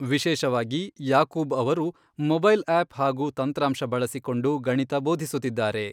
ವಿಶೇಷವಾಗಿ ಯಾಕೂಬ್ ಅವರು, mobile app ಹಾಗೂ ತಂತ್ರಾಂಶ ಬಳಸಿಕೊಂಡು ಗಣಿತ ಬೋಧಿಸುತ್ತಿದ್ದಾರೆ.